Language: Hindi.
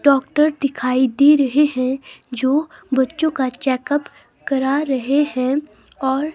डॉक्टर दिखाई दे रहे हैं जो बच्चों का चेकअप करा रहे हैं और--